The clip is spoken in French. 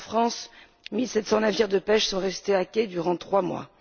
En France, mille sept cents navires de pêche sont restés à quai durant trois mois